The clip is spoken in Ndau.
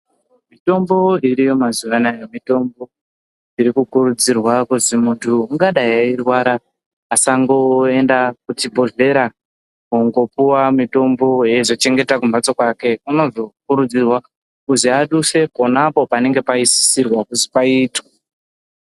Mitombo iriyo mazuwa anaya mitombo iri kukurudzirwa kuti muntu angadai eirwara asangoenda kuchibhedhlera kundopuwa mutombo weizochengeta kumhatso kwake unozokuridzirwa kuzi aduse pona panenge paisirwa kuti paitwe.